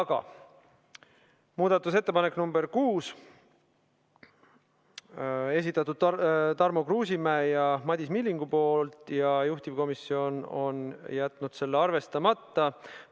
Aga nüüd muudatusettepanek nr 6, selle on esitanud Tarmo Kruusimäe ja Madis Milling ning juhtivkomisjon on jätnud selle arvestamata.